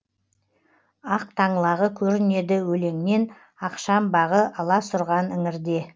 ақ таңлағы көрінеді өлеңнен ақшамбағы аласұрған іңірде